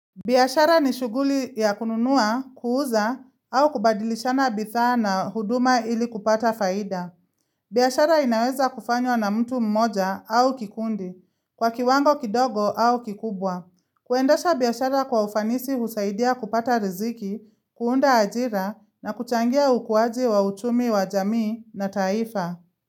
Biashara ni shughuli ya kununua, kuuza, au kubadilishana bidhaa na huduma ili kupata faida. Biashara inaweza kufanywa na mtu mmoja au kikundi, kwa kiwango kidogo au kikubwa. Kuendasha biashara kwa ufanisi husaidia kupata riziki, kuunda ajira na kuchangia ukuaji wa uchumi wa jamii na taifa.